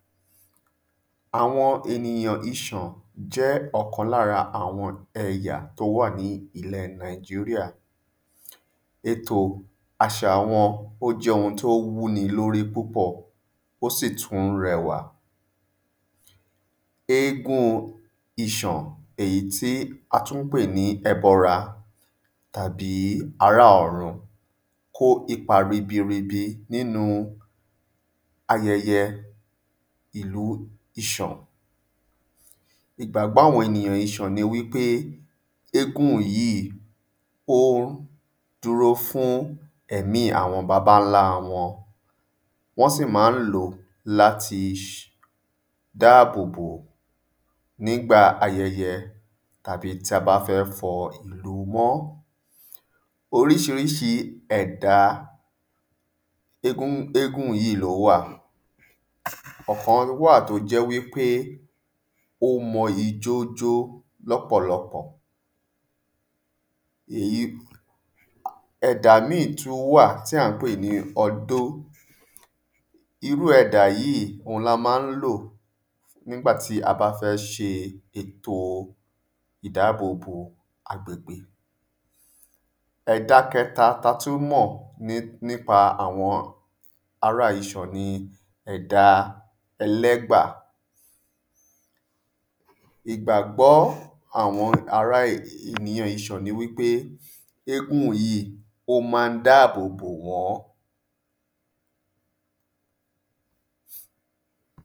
Àwọn ènìyàn Iṣàn jẹ́ ọ̀kan l'ára ẹ̀yà t'ó wà ní ilẹ̀ Nàìjíríà Ètò àṣà wọn ó jẹ́ ohun t’ó wú ni l'órí púpọ̀. Ó sì tú r’ẹwà. Égún Iṣàn èyí tí a tú ǹ pè ní ebọra tàbí ará ọ̀run kó ipa ribi ribi n'ínu ayẹyẹ ìlu Iṣàn. Ìgbàgbọ́ àwọn Iṣàn ni wí pé égún yìí ó dúró fún ẹ̀mí àwọn babańlá wọn. Wọ́n sì má ń ló l'áti dábòbò n'ígbà ayẹyẹ tàbí t'a bá fẹ́ fọ ìlú mọ́ Oríṣiríṣi ẹ̀dà égún yíì l’ówà Ọ̀kan wà t’ó jẹ́ wí pé ó mọ ijó jó l'ọ́pọ̀lọpọ̀ Ẹ̀dà míì tú wà tí à ń pè ní Ọtó. Irú ẹ̀dà yí òun ni a má ń lò n'ígbà tí a bá fẹ́ ṣe ètò ìdábòbò agbègbè. Ẹ̀da kẹta t’a tú mọ̀ n’ípa ẹ̀dà ará Iṣàn ni ẹ̀dà Ẹlẹ́gbà. Ìgbàgbọ́ àwọn ara ìyan Iṣàn ni wí pé égún yìí ó ma ń dáàbò bò wọ́n.